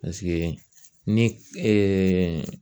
ni